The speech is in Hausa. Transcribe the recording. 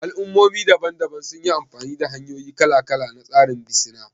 Al'ummomi daban-daban sun yi amfani da hanyoyi kala-kala na tsarin bisina